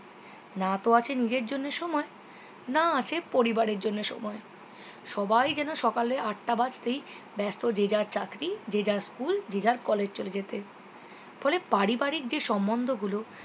না তো আছে নিজের জন্যে সময় না আছে পরিবারের জন্য সময় সবাই যেন সকালে আটটা বাজতেই ব্যস্ত যে যার চাকরি যে যার school যে যার college চলে যেতে ফলে পারিবারিক যেই সম্মন্ধ গুলো